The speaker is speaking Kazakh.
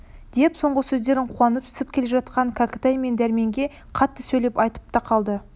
деп соңғы сөздерін қуанысып келе жатқан кәкітай мен дәрменге қатты сөйлеп айтып та қалды